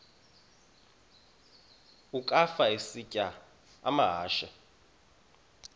ukafa isitya amahashe